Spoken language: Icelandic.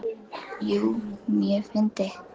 Jú, mjög fyndið.